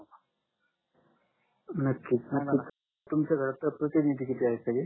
नक्कीच नक्कीच तुमच्या घरात प्रतिनिधि किती आहेत सगडे